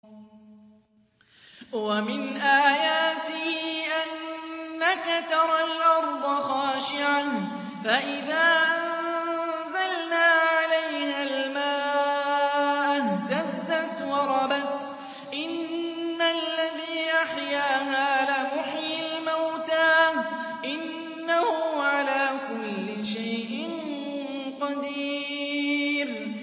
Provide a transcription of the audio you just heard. وَمِنْ آيَاتِهِ أَنَّكَ تَرَى الْأَرْضَ خَاشِعَةً فَإِذَا أَنزَلْنَا عَلَيْهَا الْمَاءَ اهْتَزَّتْ وَرَبَتْ ۚ إِنَّ الَّذِي أَحْيَاهَا لَمُحْيِي الْمَوْتَىٰ ۚ إِنَّهُ عَلَىٰ كُلِّ شَيْءٍ قَدِيرٌ